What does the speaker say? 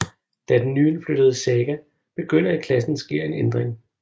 Da den nyindflyttede Saga begynder i klassen sker en ændring